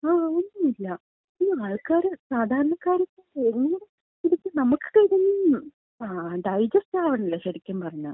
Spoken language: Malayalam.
ങാ, ഒന്നുല്യ, ഈ ആൾക്കാര്, സാധാരണക്കാര് നമുക്ക് ഇതൊക്കെ ഡൈജെസ്റ്റ് ആവണില്യ ശരിക്കും പറഞ്ഞാ.